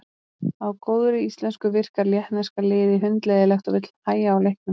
Á góðri íslensku virkar lettneska liði hundleiðinlegt og vill hægja á leiknum.